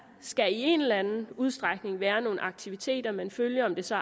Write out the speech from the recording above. skal i en eller anden udstrækning være nogle aktiviteter man følger om det så